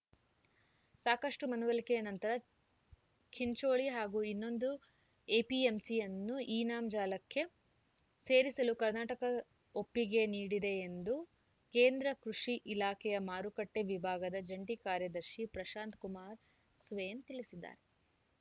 ಸಾಕಷ್ಟುಮನವೊಲಿಕೆಯ ನಂತರ ಚಿಂಚೋಳಿ ಹಾಗೂ ಇನ್ನೊಂದು ಎಪಿಎಂಸಿಯನ್ನು ಇನಾಮ್‌ ಜಾಲಕ್ಕೆ ಸೇರಿಸಲು ಕರ್ನಾಟಕ ಒಪ್ಪಿಗೆ ನೀಡಿದೆ ಎಂದು ಕೇಂದ್ರ ಕೃಷಿ ಇಲಾಖೆಯ ಮಾರುಕಟ್ಟೆವಿಭಾಗದ ಜಂಟಿ ಕಾರ್ಯದರ್ಶಿ ಪ್ರಶಾಂತ ಕುಮಾರ್‌ ಸ್ವೇನ್‌ ತಿಳಿಸಿದ್ದಾರೆ